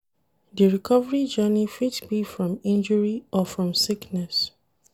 Di recovery journey fit be from injury or from sickness